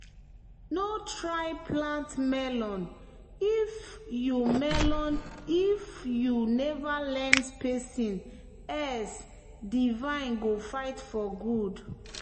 "no try plant melon if you melon if you never learn spacing else di vine go fight for food."